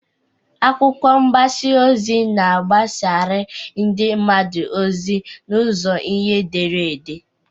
Akwụkwọ mgbasa ozi na-agbasara ndị mmadụ ozi n'ụzọ ihe edere ede.